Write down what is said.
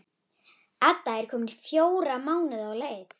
Edda er komin fjóra mánuði á leið.